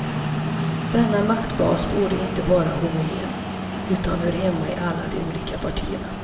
Denna maktbas borde inte vara homogen, utan hör hemma i alla de olika partierna.